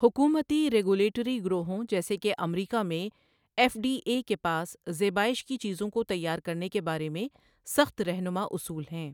حکومتی ریگولیٹری گروہوں جیسے کہ امریکہ میں ایف ڈی اے کے پاس زیبایٰش کی چیزوں کو تیار کرنے کے بارے میں سخت رہنما اصول ہیں۔